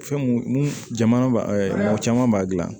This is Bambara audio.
Fɛn mun jamana ba mɔgɔ caman b'a dilan